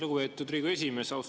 Lugupeetud Riigikogu esimees!